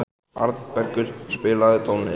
Arnbergur, spilaðu tónlist.